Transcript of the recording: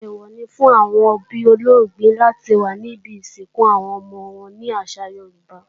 Èèwọ̀ ni fún àwọn òbí olóògbé láti wà níbi ìsìnkú àwọn ọmọ wọn ní àṣà Yorùbá.